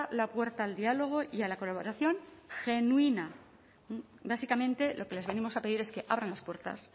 la puerta al diálogo y a la colaboración genuina básicamente lo que les venimos a pedir es que abran las puertas